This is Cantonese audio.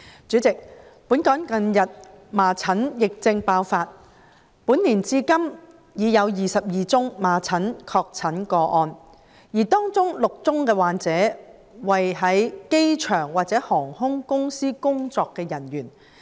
主席，本港近日麻疹疫症爆發，據報本年至今已有26宗麻疹確診個案，而當中9宗的患者為在機場或航空公司工作的人員。